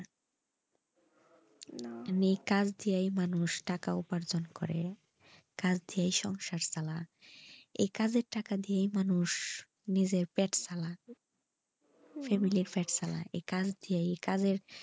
এই কাজদিয়ায় মানুষ টাকা উপার্জন করে কাজ দিয়া সংসার চলা এই কাজের টাকা দিয়া মানুষ নিজের পেট চালায় family এর পেট চালায় এই কাজ দিয়া এই কাজের,